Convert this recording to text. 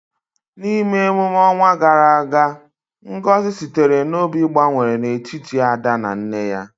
N’ime emume ọnwa gara aga, ngozi sitere n’obi gbanwere n’etiti Ada na nne ya.